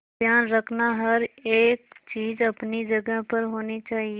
ध्यान रखना हर एक चीज अपनी जगह पर होनी चाहिए